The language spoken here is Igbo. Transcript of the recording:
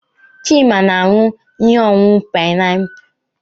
Chima na-aṅụ ihe ọṅụṅụ painiapulu.